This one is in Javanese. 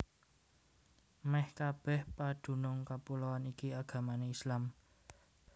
Mèh kabèh padunung kapuloan iki agamané Islam